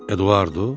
Eduardo?